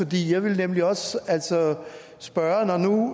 jeg ville nemlig også spørge når nu